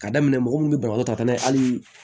Ka daminɛ mɔgɔ mun be banabaatɔ ta n'a ye hali